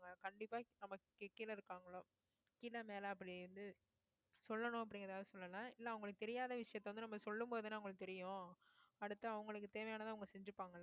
கண்டிப்பா நமக்கு கீழே இருக்காங்கள கீழ மேல அப்படி இருந்து சொல்லணும் அப்படிங்கிறதுக்காக சொல்லல இல்லை அவங்களுக்கு தெரியாத விஷயத்த வந்து நம்ம சொல்லும் போதுதானே உங்களுக்கு தெரியும் அடுத்து அவங்களுக்கு தேவையானதை அவங்க செஞ்சுப்பாங்கள்ல